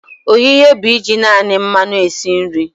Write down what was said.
Ohihe bụ iji naani mmanu esi nri.